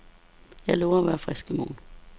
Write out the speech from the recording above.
Jeg lover at være frisk i morgen.